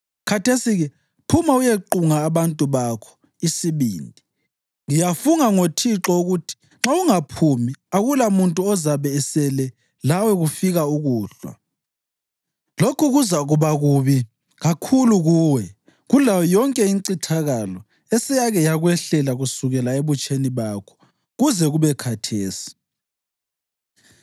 Khathesi-ke phuma uyequnga abantu bakho isibindi. Ngiyafunga ngoThixo ukuthi nxa ungaphumi akulamuntu ozabe esele lawe kufika ukuhlwa. Lokhu kuzakuba kubi kakhulu kuwe kulayo yonke incithakalo eseyake yakwehlela kusukela ebutsheni bakho kuze kube khathesi.”